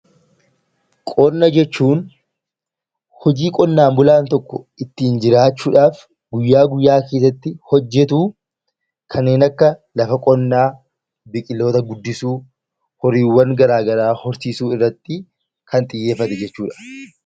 Qonna jechuun hojii qonnaan bulaan tokko ittin jiraachuuf guyyaa, guyyaa keessatti hojjetu kanneen akka lafa qonna biqiloota guddisu, horiiwwaan garaagaraa horsiisuu irratti kan xiyyeeffate jechuudha.